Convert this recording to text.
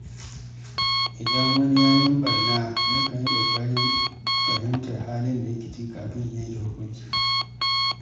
Idan wani ya min ɓarna, nakan yi ƙoƙarin fahimtar halin da yake ciki kafin in yanke hukunci.